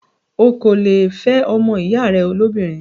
o kò le è fẹ́ ọmọ ìyá rẹ lóbìnrin.